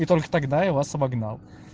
и только тогда я вас обогнал